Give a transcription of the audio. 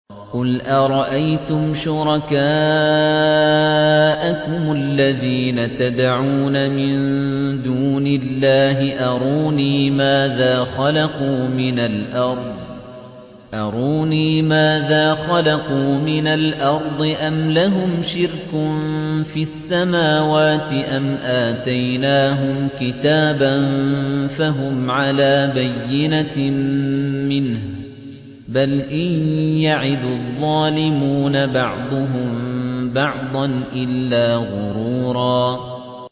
قُلْ أَرَأَيْتُمْ شُرَكَاءَكُمُ الَّذِينَ تَدْعُونَ مِن دُونِ اللَّهِ أَرُونِي مَاذَا خَلَقُوا مِنَ الْأَرْضِ أَمْ لَهُمْ شِرْكٌ فِي السَّمَاوَاتِ أَمْ آتَيْنَاهُمْ كِتَابًا فَهُمْ عَلَىٰ بَيِّنَتٍ مِّنْهُ ۚ بَلْ إِن يَعِدُ الظَّالِمُونَ بَعْضُهُم بَعْضًا إِلَّا غُرُورًا